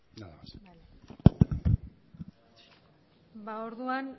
nada más orduan